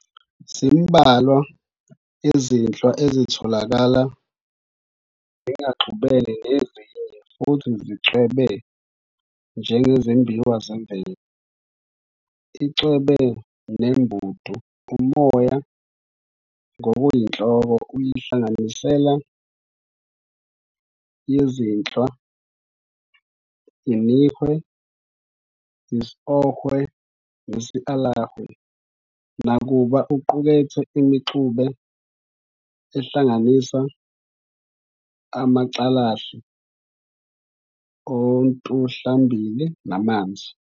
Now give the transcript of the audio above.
Zimbalwa izinhlwa ezitholakala zingaxubene nezinye futhi zicwebe njengezimbiwa zemvelo, iCwebe neMbedu. Umoya ngokuyinhloko uyinhlanganisela yezinhlwa iNihwe, isOhwe nesAlahwe, nakuba uqukethe imixube ehlanganisa umCalahle ontuhlambili namanzi.